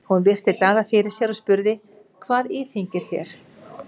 Hún virti Daða fyrir sér og spurði:-Hvað íþyngir þér?